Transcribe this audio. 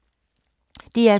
DR2